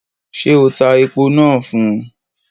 Ṣé o tá èpo náà fún?